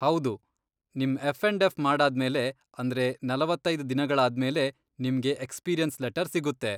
ಹೌದು, ನಿಮ್ F and F ಮಾಡಾದ್ಮೇಲೆ, ಅಂದ್ರೆ ನಲವತ್ತೈದ್ ದಿನಗಳಾದ್ಮೇಲೆ ನಿಮ್ಗೆ ಎಕ್ಸ್ಪೀರಿಯನ್ಸ್ ಲೆಟರ್ ಸಿಗುತ್ತೆ.